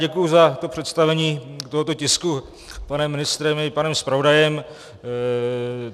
Děkuji za to představení tohoto tisku panem ministrem i panem zpravodajem.